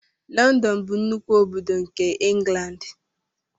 London bụ nnukwu obodo nke England.